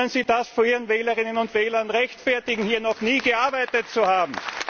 Wie können Sie das vor Ihren Wählern und Wählerinnen rechtfertigen, hier noch nie gearbeitet zu haben?